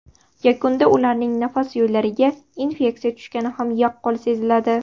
Yakunda ularning nafas yo‘llariga infeksiya tushgani ham yaqqol seziladi.